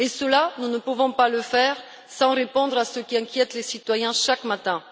Cela, nous ne pouvons pas le faire sans répondre à ce qui inquiète les citoyens au quotidien.